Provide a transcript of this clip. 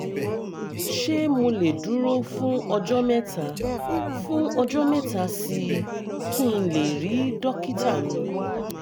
ṣé mo lè dúró fún ọjọ́ mẹ́ta fún ọjọ́ mẹ́ta sí i kí n lè rí dókítà mi?